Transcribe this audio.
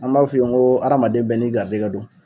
An b'a f'u ye ŋoo adamaden bɛɛ n'i garijɛgɛ don